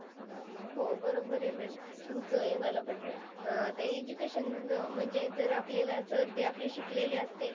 हो बरोबर आहे ma'am तुमचं हे मला पटलं. आता, अं education म्हणजे जर आपल्याला जर ते शिकलेले असतील